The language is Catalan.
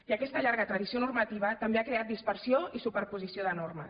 i aquesta llarga tradició normativa també ha creat dispersió i superposició de normes